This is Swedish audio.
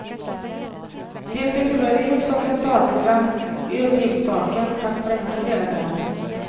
Det ser tyvärr ut som det statliga utgiftstaken kan sprängas redan i år.